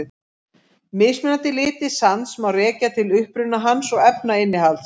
Mismunandi litir sands má rekja til uppruna hans og efnainnihalds.